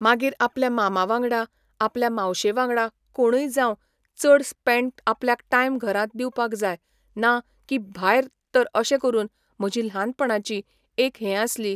मागीर आपल्या मामा वांगडा, आपल्या मावशे वांगडा कोणय जावं चड स्पेंड आपल्याक टायम घरांत दिवपाक जाय ना की भायर तर अशे करून म्हजी ल्हानपणाची एक हें आसली